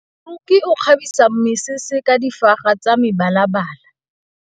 Moroki o kgabisa mesese ka difaga tsa mebalabala.